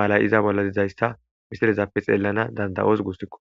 malay iza bolla dizayssa misirezappe xeellana danda7oos gusikko